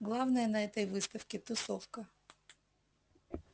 главное на этой выставке тусовка